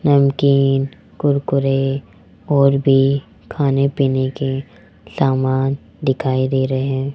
नमकीन कुरकुरे और भी खाने पीने के समान दिखाई दे रहे है।